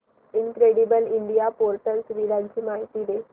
incredible India portal सुविधांची माहिती दे